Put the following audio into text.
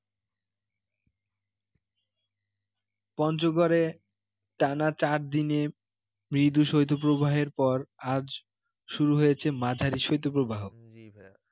পঞ্চগড়ে টানা চার দিনে মৃদু শৈত্য প্রবাহের পর আজ শুরু হয়েছে মাঝারি শৈত্যপ্রবাহ